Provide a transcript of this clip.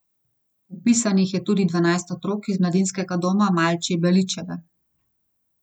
Vpisanih je tudi dvanajst otrok iz mladinskega doma Malči Beličeve.